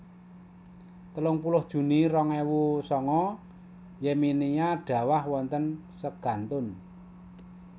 telung puluh juni rong ewu sanga Yemenia dhawah wonten segantun